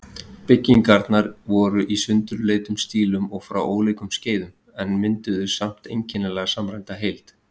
Byggingarnar voru í sundurleitum stílum og frá ólíkum skeiðum, en mynduðu samt einkennilega samræmda heild.